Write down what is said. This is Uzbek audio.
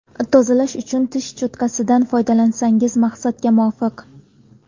Tozalash uchun tish cho‘tkasidan foydalansangiz maqsadga muvofiq.